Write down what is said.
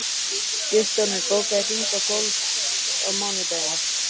Guttormur, bókaðu hring í golf á mánudaginn.